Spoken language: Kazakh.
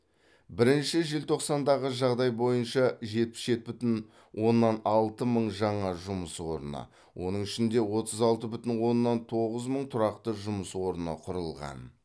бірінші желтоқсандағы жағдай бойынша жетпіс жеті бүтін оннан алты мың жаңа жұмыс орны оның ішінде отыз алты бүтін оннан тоғыз мың тұрақты жұмыс орны құрылған